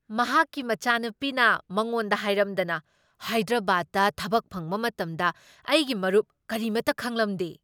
ꯃꯍꯥꯛꯀꯤ ꯃꯆꯥꯅꯨꯄꯤꯅ ꯃꯉꯣꯟꯗ ꯍꯥꯏꯔꯝꯗꯅ ꯍꯥꯏꯗ꯭ꯔꯕꯥꯗꯇꯥ ꯊꯕꯛ ꯐꯪꯕ ꯃꯇꯝꯗ ꯑꯩꯒꯤ ꯃꯔꯨꯞ ꯀꯔꯤꯃꯇꯥ ꯈꯪꯂꯝꯗꯦ꯫